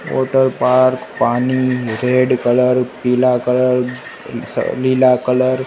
water park पानी red colour पिला colour अ स नीला कलर --